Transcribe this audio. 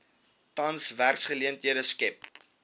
tans werksgeleenthede skep